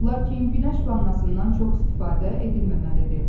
Lakin günəş vannasından çox istifadə edilməməlidir.